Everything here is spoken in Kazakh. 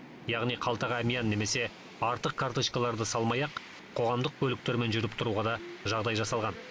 яғни қалтаға әмиян немесе артық карточкаларды салмай ақ қоғамдық көліктермен жүріп тұруға да жағдай жасалған